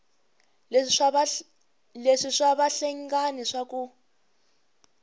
leswi swa vahlengani swa ku